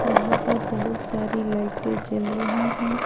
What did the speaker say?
यहां पर बहुत सारी लाइटे जल रही है।